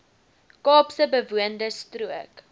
kaapse bewoonde strook